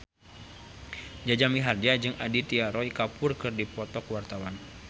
Jaja Mihardja jeung Aditya Roy Kapoor keur dipoto ku wartawan